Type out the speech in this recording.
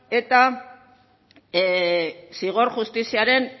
eta zigor justiziaren